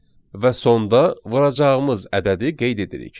Və sonda vuracağımız ədədi qeyd edirik.